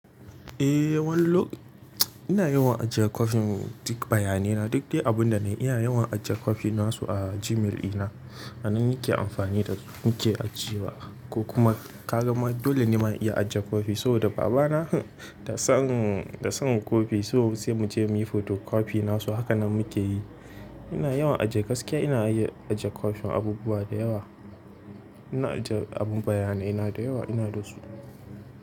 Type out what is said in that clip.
Eh wani lok ina yawan ajiye kwafin duk bayanina. Duk dai abunda nayi ina yawan ajiye kwafin nasu a Gmail ina. Hakanan muke amfani da muke ajiye wa ko kuma ka gama dole ne ma in iya ajiye kwafi saboda babana da san da son kwafi so sai mu je muyi photocopy nasu hakanan muke yi. Ina yawan ajiye gaskiya ina iya ajiye kwafin abubuwa da yawa. Ina ajiye abun bayanaina da yawa ina da su.